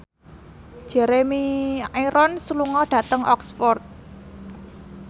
Jeremy Irons lunga dhateng Oxford